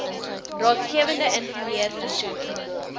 raadgewende ingenieur versoek